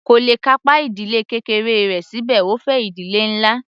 Kò le kápá ìdílé kékeré rẹ̀ síbẹ̀ ó fẹ́ ìdílé ńlá.